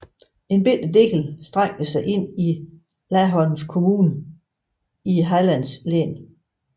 En lille del strækker sig ind i Laholms kommun i Hallands län